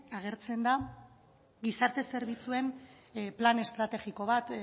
agertzen da gizarte zerbitzuen plan estrategiko bat